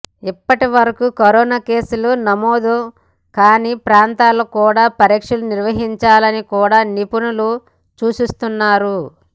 ఇప్పటివరకు కరోనా కేసులు నమోదు కాని ప్రాంతాల్లో కూడ పరీక్షలు నిర్వహించాలని కూడ నిపుణులు సూచిస్తున్నారు